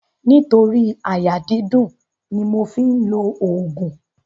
Nítorí àyà dídùn ni mo fi ń òògùn.